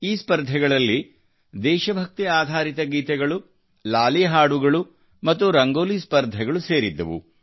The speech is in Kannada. ಈ ಸ್ಪರ್ಧೆಗಳಲ್ಲಿ ದೇಶಭಕ್ತಿ ಆಧಾರಿತ ಗೀತೆಗಳು ಲಾಲಿ ಹಾಡುಗಳು ಮತ್ತು ರಂಗೋಲಿ ಸ್ಪರ್ಧೆಗಳು ಸೇರಿದ್ದವು